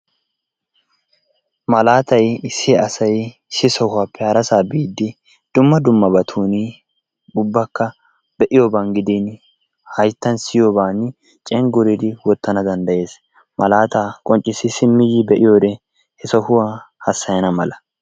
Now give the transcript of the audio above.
Malaatay issi asay issi sohuwappe harasaa biiddi dumma dummabatuuni ubbakka be'iyoban gidiini hayttan siyiyobaani cengguridi wottana danddayees. Malaataa qonccissi simmi yi be'iyode he sohuwa hassayana mala.